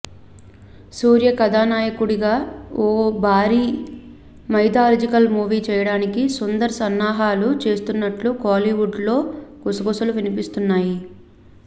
సూర్య కథానాయకుడిగా ఓ భారీ మైథలాజికల్ మూవీ చేయడానికి సుందర్ సన్నాహాలు చేస్తున్నట్లు కోలీవుడ్లో గుసగుసలు వినిపిస్తున్నాయి